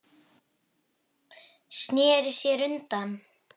Já, eða mig?